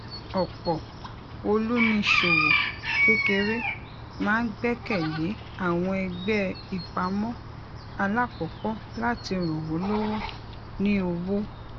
ọpọ olùníṣòwò kékeré máa ń gbẹkẹ lé àwọn ẹgbẹ ìpamọ alákọkọ láti ràn wọn lọwọ ní owó